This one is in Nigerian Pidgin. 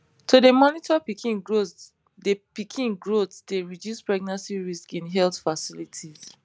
to dey monitor pikin growth dey pikin growth dey reduce pregnancy risks in health facilities